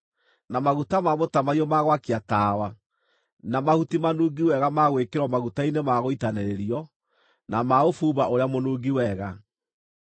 na maguta ma mũtamaiyũ ma gwakia tawa; na mahuti manungi wega ma gwĩkĩrwo maguta-inĩ ma gũitanĩrĩrio, na ma ũbumba ũrĩa mũnungi wega;